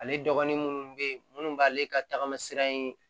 Ale dɔgɔnin minnu be yen munnu b'ale ka tagama sira in